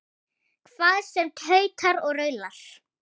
Hvað sem tautar og raular.